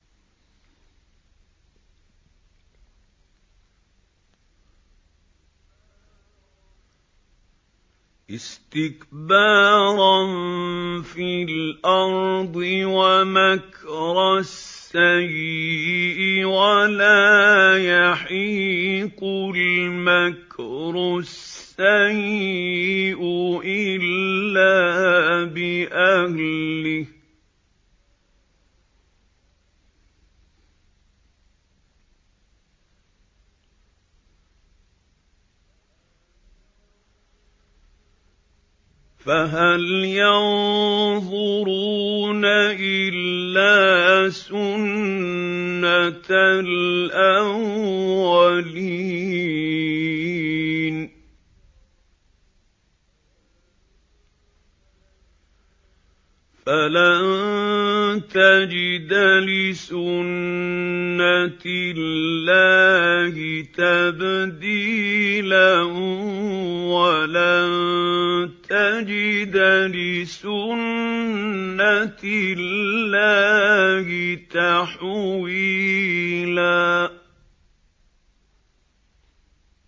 اسْتِكْبَارًا فِي الْأَرْضِ وَمَكْرَ السَّيِّئِ ۚ وَلَا يَحِيقُ الْمَكْرُ السَّيِّئُ إِلَّا بِأَهْلِهِ ۚ فَهَلْ يَنظُرُونَ إِلَّا سُنَّتَ الْأَوَّلِينَ ۚ فَلَن تَجِدَ لِسُنَّتِ اللَّهِ تَبْدِيلًا ۖ وَلَن تَجِدَ لِسُنَّتِ اللَّهِ تَحْوِيلًا